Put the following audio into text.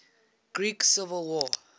greek civil war